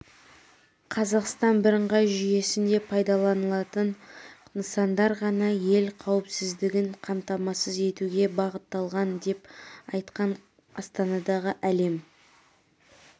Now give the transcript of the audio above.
қазақстан бірыңғай жүйесінде пайдаланылатын нысандар ғана ел қауіпсіздігін қамтамасыз етуге бағытталған деп айтқан астанадағы әлем